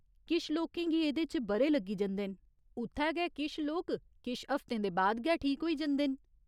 किश लोकें गी एह्दे च ब'रे लग्गी जंदे न, उत्थै गै किश लोक किश हफ्तें दे बाद गै ठीक होई जंदे न।